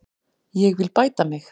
Ég vil bæta mig.